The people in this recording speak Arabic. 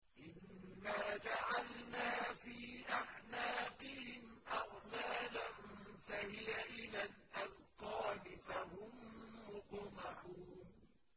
إِنَّا جَعَلْنَا فِي أَعْنَاقِهِمْ أَغْلَالًا فَهِيَ إِلَى الْأَذْقَانِ فَهُم مُّقْمَحُونَ